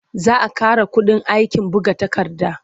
Za a ƙara kuɗin aikin buga takarda.